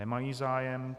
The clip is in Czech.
Nemají zájem.